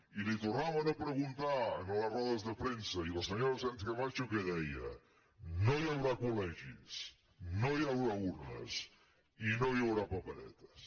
i li ho tornaven a preguntar en les rodes de premsa i la senyora sánchezcamacho què deia no hi haurà col·urnes i no hi haurà paperetes